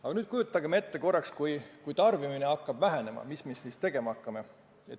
Aga nüüd kujutagem korraks ette, et kui tarbimine hakkab vähenema, mis me siis tegema hakkame.